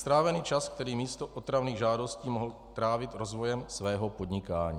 Strávený čas, který místo otravných žádostí mohl trávit rozvojem svého podnikání.